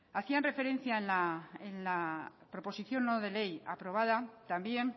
hacían referencia en la proposición no de ley aprobada también